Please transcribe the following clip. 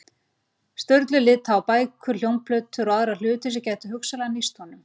Sturlu líta á bækur, hljómplötur og aðra hluti sem gætu hugsanlega nýst honum.